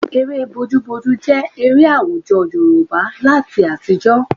Eré bojúbojú jẹ́ eré àwùjọ Yorùbá láyé àtijọ́